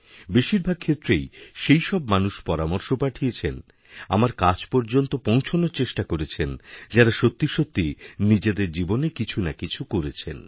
বেশিরভাগক্ষেত্রেই সেইসব মানুষ পরামর্শ পাঠিয়েছেন আমার কাছ পর্যন্ত পৌঁছনোর চেষ্টাকরেছেন যাঁরা সত্যি সত্যিই নিজেদের জীবনে কিছু না কিছু করেছেন